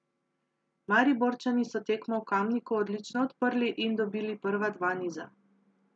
Mariborčani so tekmo v Kamniku odlično odprli in dobili prva dva niza.